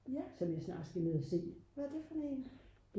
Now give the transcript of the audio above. som jeg snart skal ned at se